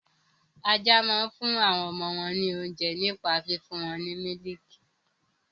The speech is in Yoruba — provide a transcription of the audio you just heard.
Ajá máa ń fún àwọn ọmọ wọn ní oúnjẹ nípa fífún wọn ní mílìkì.